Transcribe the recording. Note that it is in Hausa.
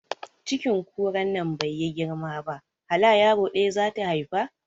Cikin kuran nan baiyi girma ba hala yaro ɗaya zata haifa